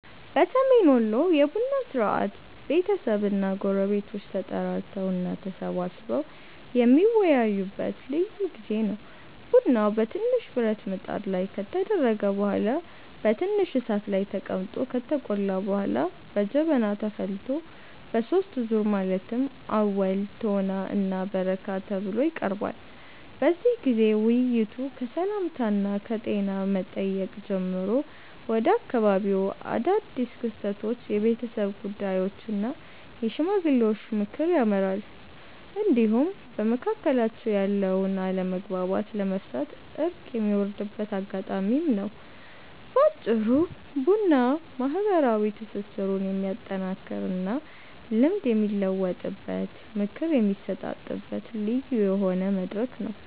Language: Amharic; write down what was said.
በሰሜን ወሎ የቡና ሥርዓት ቤተሰብና ጎረቤቶች ተጠራርተው እና ተሰባስበው የሚወያዩበት ልዩ ጊዜ ነው። ቡናው በትንሽ ብረት ብጣት ላይ ከተደረገ በኋላ በትንሽ እሳት ላይ ተቀምጦ ከተቆላ በኋላ በጀበና ተፈልቶ በሦስት ዙር ማለትም አወል፣ ቶና እና በረካ ተብሎ ይቀርባል። በዚህ ጊዜ ውይይቱ ከሰላምታና ከጤና መጠየቅ ጀምሮ ወደ አካባቢው አዳድስ ክስተቶች፣ የቤተሰብ ጉዳዮች እና የሽማግሌዎች ምክር ያመራል፤ እንዲሁም በመካከላቸው ያለውን አለመግባባት ለመፍታት እርቅ የሚወርድበት አጋጣሚም ነው። በአጭሩ ቡና ማህበራዊ ትስስሩን የሚያጠናክርና ልምድ የሚለዋወጥበት፣ ምክር የሚሰጣጥበት ልዩ የሆነ መድረክ ነው።